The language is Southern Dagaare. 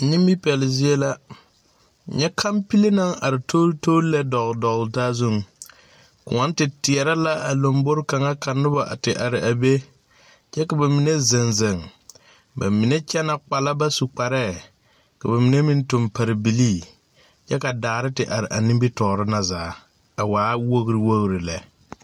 Nimipɛle zie la nyɛ kampile naŋ are toltol lɛ dɔgle dɔgle taa zuŋ kõɔŋ te teɛrɛ la a lambore kaŋa ka noba a te are a be kyɛ ka ba mine zeŋ zeŋ ba mine kyɛnɛ kpala ba su kpareɛɛ ka ba mine meŋ tuŋ pare bilii kyɛ ka daare te are a nimitoore na zaa a waa wogre lɛ.